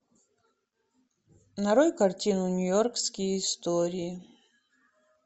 нарой картину нью йоркские истории